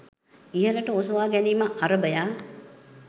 ඉහළට ඔසවාගැනීම අරභයා